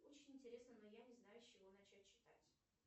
очень интересно но я не знаю с чего начать читать